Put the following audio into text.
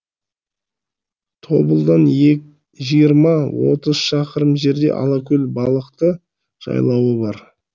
тобылдан жиырма отыз шақырым жерде алакөл балықты жайлауы бар